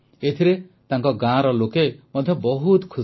ଏଥିରେ ତାଙ୍କ ଗାଁର ଲୋକେ ମଧ୍ୟ ବହୁତ ଖୁସି